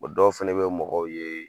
O dɔw fana bɛ mɔgɔw ye.